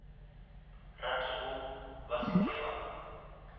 ratego ba se ke ba